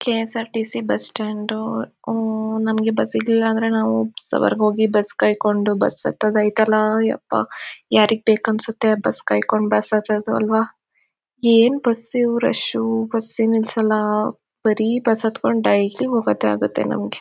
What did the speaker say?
KSRTC bus stand ಹೂಂ ನಮಗೆ bus ಸಿಗ್ಲಿಲ್ಲ ಅಂದ್ರೆ ನಾವು ಬಸ್ ವರೆಗೂ ಹೋಗಿ ಬಸ್ ಕಾಯ್ಕೊಂಡು ಬಸ್ ಹತ್ತೋದು ಐತಲ್ಲ ಎಪ್ಪ ಯಾರಿಗ್ ಬೇಕು ಅನ್ಸುತ್ತೆ ಬಸ್ ಕಾಯ್ಕೊಂಡು ಬಸ್ ಹತ್ತೋದು ಆಲ್ವಾ. ಏನ್ ಬಸ್ ಇವು ರಶ್ ಬಸ್ ನಿಲ್ಸಲ್ಲ ಬರೀ ಬಸ್ ಹತ್ಕೊಂಡು ಡೈಲಿ ಹೋಗೋದೇ ಆಗತ್ತೆ ನಮಗೆ.